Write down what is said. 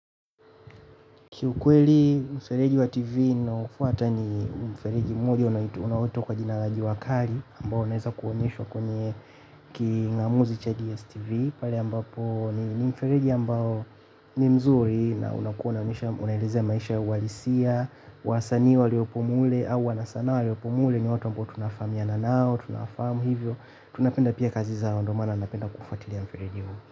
Kiukweli, mfereji wa TV ninaofuata ni mfereji mwingine unaoitwa kwa jua kali ambao unaanza kuonyesha kwenye king'amuzi cha GSTV pale ambapo ni mfereji ambao ni mzuri na unakuonyesha, unaeleza maisha halisi. Wasanii waliopo mule au wanasanaa waliopo mule ni watu ambao tunafahamiana nao, tunawafahamu hivyo. Tunapenda pia kazi za Ondomana, napenda kufuatilia mfereji huu.